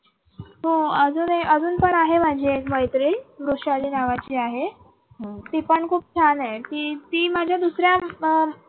हो अजून ए अजून पण एक आहे माझी मैत्रीण वृषाली नावाची आहे. ती पण खूप छान आहे ती ती माझ्या दुसऱ्या.